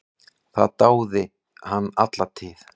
Það dáði hann alla tíð.